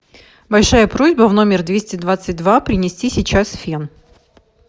большая просьба в номер двести двадцать два принести сейчас фен